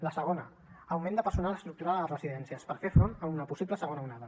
la segona augment de personal estructural a les residències per fer front a una possible segona onada